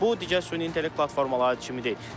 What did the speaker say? Bu digər süni intellekt platformaları kimi deyil.